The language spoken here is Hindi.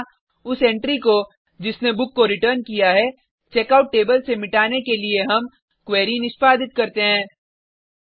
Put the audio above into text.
यहाँ उस एंट्री को जिसने बुक को रिटर्न किया है चेकआउट टेबल से मिटाने के लिए हम क्वेरी निष्पादित करते हैं